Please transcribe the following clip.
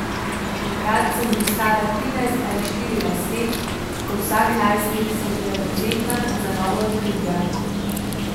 Takrat sem bil stara trinajst ali štirinajst let in kot vsak najstnik sem bila dovzetna za nova odkritja.